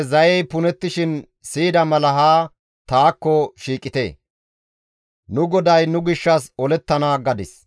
Intte zayey punettishin siyida mala ha taakko shiiqite; nu GODAY nu gishshas olettana» gadis.